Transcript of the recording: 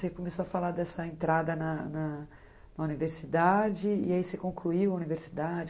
Você começou a falar dessa entrada na na na universidade e aí você concluiu a universidade.